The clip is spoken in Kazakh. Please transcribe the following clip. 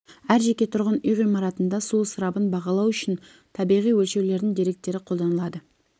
әр жеке тұрғын үй ғимаратында су ысырабын бағалау үшін табиғи өлшеулердің деректері қолданылады